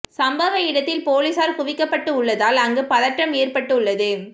சம்பவ இடத்தில் போலீசார் குவிக்கப்பட்டு உள்ளதால் அங்கு பதற்றம் ஏற்பட்டு உள்ளது